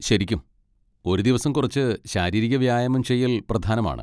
ശരിക്കും, ഒരു ദിവസം കുറച്ച് ശാരീരിക വ്യായാമം ചെയ്യൽ പ്രധാനമാണ്.